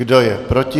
Kdo je proti?